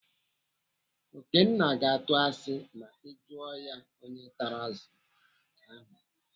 Okenna ga-atụ asị ma ị jụọ ya onye tara azụ ahụ.